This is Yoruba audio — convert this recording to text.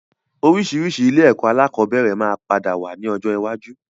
Oríṣiríṣi ilé ẹ̀kọ́ alakọ̀bẹ́ẹ́rẹ̀ máa padà wá ní ọjọ́ iwájú